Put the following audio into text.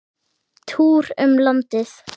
Túr um landið.